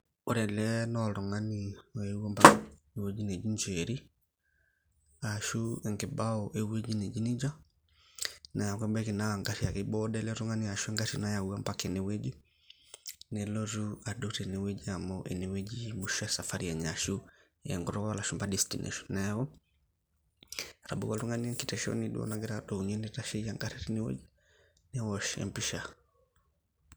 Ore ele naaboltungani otii ewueji naji ee njeri ashu enkibau ewueji naji nejia, na kebaki anaa engari ake nedou teinewueji nelotu adou teine wueji ashu ine ebaya esafi enye ashu neji tenkutuk olashumba destination ,etanawua oltungani kitesheni duo nagira abaya neitashieyie engari newosh empisha .